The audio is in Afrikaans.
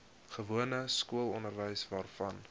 gewone skoolonderwys waarvan